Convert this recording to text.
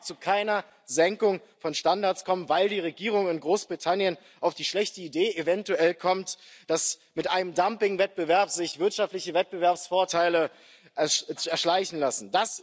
Es darf zu keiner Senkung von Standards kommen, weil die Regierung in Großbritannien eventuell auf die schlechte Idee kommt, dass sich mit einem Dumpingwettbewerb wirtschaftliche Wettbewerbsvorteile erschleichen lassen.